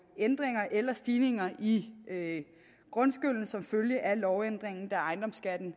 ændringer eller stigninger i grundskylden som følge af lovændringen da ejendomsskatten